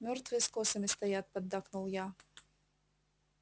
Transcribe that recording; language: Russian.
мёртвые с косами стоят поддакнул я